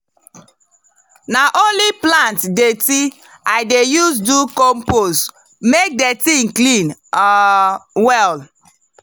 na only plant dirty i dey use do compost make the thing clean um well.